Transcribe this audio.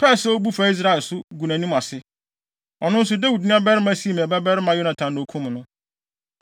pɛɛ sɛ obu fa Israel so, gu nʼanim ase. Ɔno nso, Dawid nuabarima Simei babarima Yonatan na okum no.